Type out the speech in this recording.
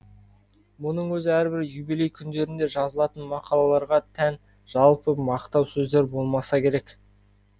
мұның өзі әрбір юбилей күндерінде жазылатын мақалаларға тән жалпы мақтау сөздер болмаса керек